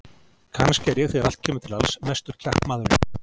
Kannski er ég þegar allt kemur til alls mestur kjarkmaðurinn.